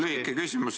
Lühike küsimus.